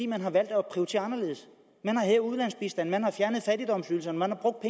man har valgt at prioritere anderledes man har hævet ulandsbistanden man har fjernet fattigdomsydelserne man har brugt